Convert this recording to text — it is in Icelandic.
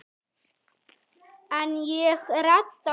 En ég redda mér.